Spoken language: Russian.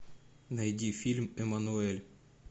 найди фильм эммануэль